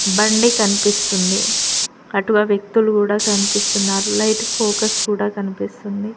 బండి కన్పిస్తుంది అటుగా వ్యక్తులు కూడా కన్పిస్తున్నారు లైట్ ఫోకస్ కూడా కనిపిస్తుంది.